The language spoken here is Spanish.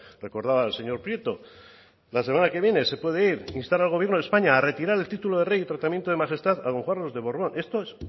recordaba el señor prieto la semana que viene se puede ir instar al gobierno de españa a retirar el título de rey y tratamiento de majestad a don juan carlos de borbón esto es